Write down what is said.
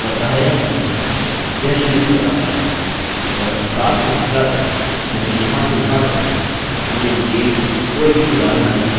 यह शून्य बताता है अतः 7 से 17 तक जोकि यहाँ से यहाँ तक है – हमें name कोई भी उदाहरण नहीं मिले